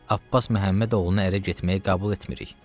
Abbas Məhəmmədoğlunu ərə getməyi qəbul etmirik.